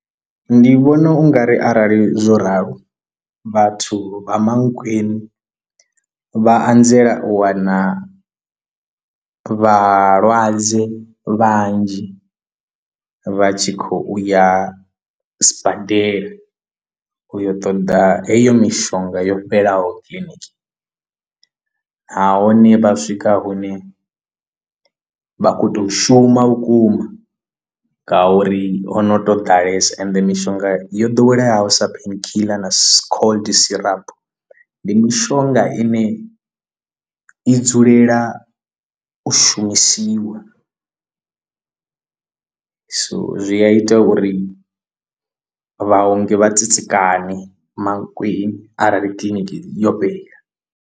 Ndi vhona ungari arali zwo ralo vhathu vha mankweng vha anzela u wana vhalwadze vhanzhi vha tshi khou uya sibadela uyo ṱoḓa heyo mishonga yo fhelelaho kiḽiniki nahone vha swika hune vha khou tou shuma vhukuma ngauri ho no tou ḓalesa ende mishonga yo ḓoweleyaho sa pain killer na cold syrup ndi mishonga ine i dzulela u shumisiwa so zwi a ita uri vhaongi vha tsitsikane mankweng arali kiḽiniki yo fhela.